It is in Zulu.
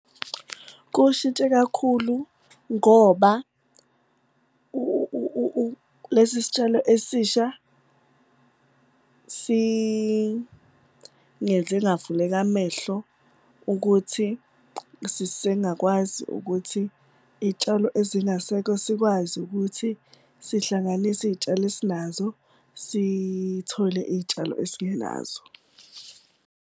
Kuwushintshe kakhulu ngoba lesi sitshalo esisha singenze ngavuleka amehlo ukuthi sisengakwazi ukuthi iy'tshalo ezingasekho sikwazi ukuthi sihlanganise iy'tshalo esinazo, sithole iy'tshalo esingenazo.